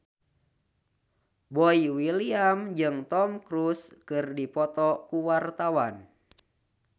Boy William jeung Tom Cruise keur dipoto ku wartawan